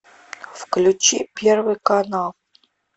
включи первый канал